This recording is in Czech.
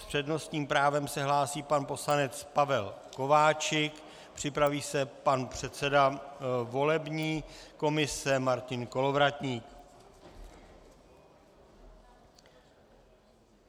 S přednostním právem se hlásí pan poslanec Pavel Kováčik, připraví se pan předseda volební komise Martin Kolovratník.